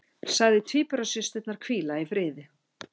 Sagði tvíburasysturnar hvíla í friði